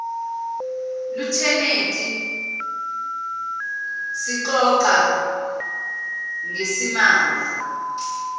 lutheneti sixoxa ngesimanga